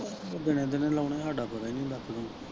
ਦੀਨੇ ਦੀਨੇ ਲਾਉਣੇ ਹਾਡਾ ਪਤਾ ਹੀ ਨੀ ਹੁੰਦਾ ਕੋਈ।